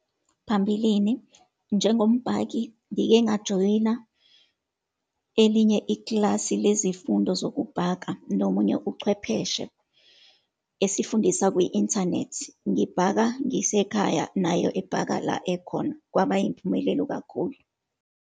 Phambilini njengombhaki, ngike ngajoyina elinye ikilasi lezifundo zokubhaka nomunye uchwepheshe, esifundisa kwi-inthanethi. Ngibhaka ngisekhaya, nayo ebhaka la ekhona. Kwaba yimphumelelo kakhulu.